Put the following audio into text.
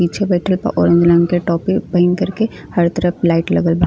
पीछे बइठल बा ऑरेंज रंग के टोपी पहिन करके। हर तरफ लाइट लगल बा।